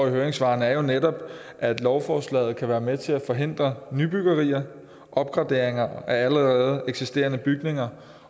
i høringssvarene er jo netop at lovforslaget kan være med til at forhindre nybyggerier og opgraderinger af allerede eksisterende bygninger